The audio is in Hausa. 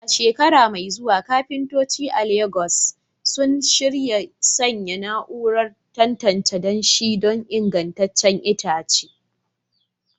A shekara mai zuwa, kafintoci a Legas suna shirin sanya na'urar tantance danshi don ingantaccen itace.